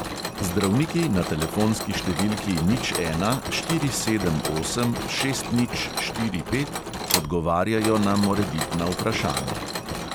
Zdravniki na telefonski številki nič ena štiri sedem osem šest nič štiri pet odgovarjajo na morebitna vprašanja.